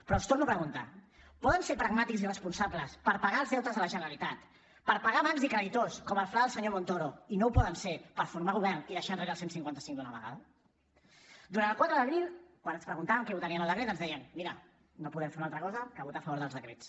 però els torno a preguntar poden ser pragmàtics i responsables per pagar els deutes de la generalitat per pagar bancs i creditors com el fla del senyor montoro i no ho poden ser per formar govern i deixar enrere el cent i cinquanta cinc d’una vegada durant el quatre d’abril quan ens preguntaven què votaríem al decret ens deien mira no podem fer una altra cosa que votar a favor dels decrets